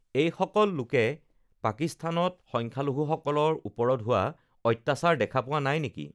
এইসকল লোকে পাকিস্তানত সংখ্যালঘূসকলৰ ওপৰত হোৱা অত্যাচাৰ দেখা পোৱা নাই নেকি?